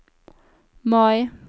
Mai